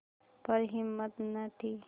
पर हिम्मत न थी